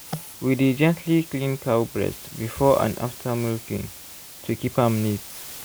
we dey gently clean cow breast before and after milking to keep am neat.